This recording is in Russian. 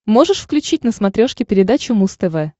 можешь включить на смотрешке передачу муз тв